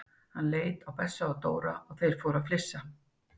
Hann leit á Bessa og Dóra og þeir fóru líka að flissa.